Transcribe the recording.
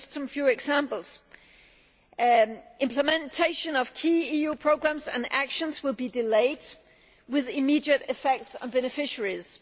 Just a few examples implementation of key EU programmes and actions will be delayed with immediate effects on beneficiaries.